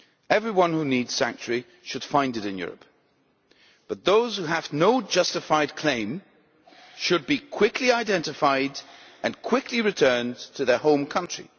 Everyone who needs sanctuary should find it in Europe, but those who have no justified claim should be quickly identified and quickly returned to their home country.